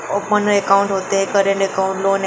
open account होते है current account --